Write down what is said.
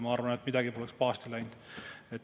Ma arvan, et midagi poleks pahasti läinud.